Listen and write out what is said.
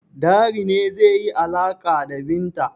Dari ne zai yi alaƙa da Binta.